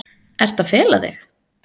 Ertu að fela þig?